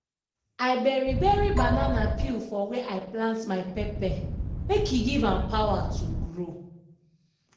i bury bury banana peel for where i plant my pepper make e give am power to grow.